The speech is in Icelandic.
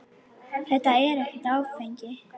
Þetta er ekkert áfengi.